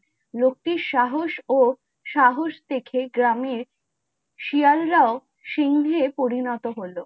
লোকটি সাহস ও সাহস দেখে গ্রামীণ শিয়াল রাও সিংহে পরিনত হল ।